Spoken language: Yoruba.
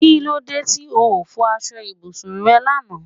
Kí lóde tí ó fọ aṣọ ibùsùn rẹ lànà?